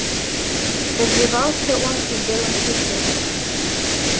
развивался он и в белом клыке